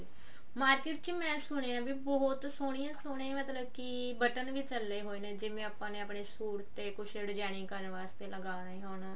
market ਚ ਮੈਂ ਸੁਣਿਆ ਬਹੁਤ ਸੋਹਣੀਆ ਸੋਹਣੀਆਂ ਮਤਲਬ ਕੀ ਬਟਨ ਵੀ ਚੱਲੇ ਹੋਏ ਨੇ ਜਿਵੇਂ ਆਪਾਂ ਨੇ ਆਪਣੇ ਸੂਟ ਤੇ designing ਕਰਨ ਵਾਸਤੇ ਅਗਰ ਲਗਾਉਣੇ ਹੋਣ